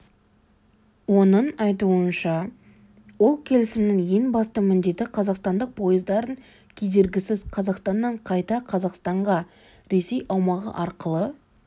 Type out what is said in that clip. оның айтуынша ол келісімнің ең басты міндеті қазақстандық поездардың кедергісіз қазақстаннан қайта қазақстанға ресей аумағы арқылы